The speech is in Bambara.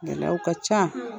Gɛlɛyaw ka ca,